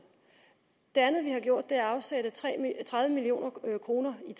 det andet vi har gjort er at afsætte tredive million kroner i